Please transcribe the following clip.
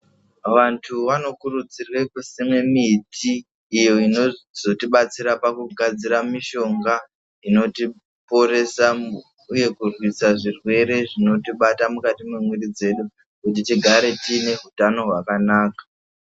Vantu vano kurudzirwe kusime miti iyo inozoti batsira paku gadzira mishonga inoti poresa uye kurwisa zvirwere zvinoti bata mukati mwe mwiri dzedu kuti tigare tiine hutano hwakanaka.